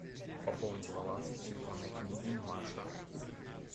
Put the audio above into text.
пополнить баланс из телефонной книги маша